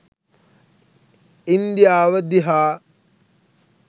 ඉන්දියාව දිහා.